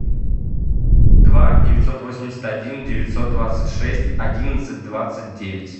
два девятьсот восемьдесят один девятьсот двадцать шесть одиннадцать двадцать девять